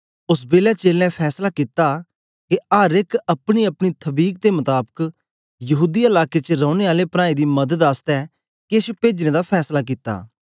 ओस बेलै चेलें फैसला कित्ता के अर एक अपनीअपनी थबीक दे मताबक यहूदीया लाके च रौने आले प्रांऐं दी मदद आसतै केछ पेजने दा फैसला कित्ता